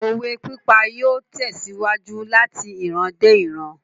Òwe pípa yóò tèsíwájú lati iran dé ìran